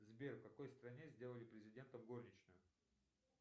сбер в какой стране сделали президентом горничную